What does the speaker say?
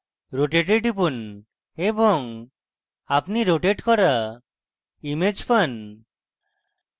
rotate a টিপুন এবং আপনি rotate করা image পান